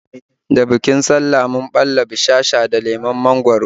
Da bikin sallah mun ɓalla bushasha da lemon mangwaro